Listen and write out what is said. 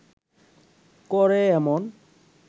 করে এমন